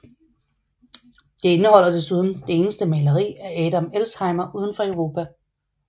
Det indeholder desuden det eneste maleri af Adam Elsheimer udenfor Europa